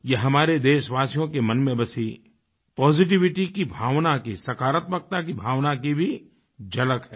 ये हमारे देशवासियों के मन में बसी पॉजिटिविटी की भावना की सकारात्मकता की भावना की भी झलक है